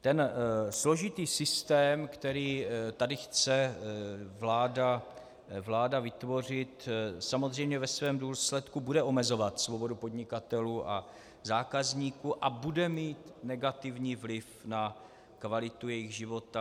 Ten složitý systém, který tady chce vláda vytvořit, samozřejmě ve svém důsledku bude omezovat svobodu podnikatelů a zákazníků a bude mít negativní vliv na kvalitu jejich života.